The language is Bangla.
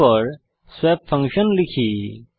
তারপর স্বপ ফাংশন লিখি